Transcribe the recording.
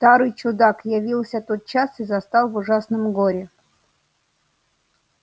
старый чудак явился тотчас и застал в ужасном горе